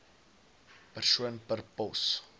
persoon per pos